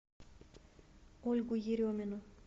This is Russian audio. ольгу еремину